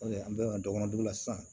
an bɛ dɔgɔninw la sisan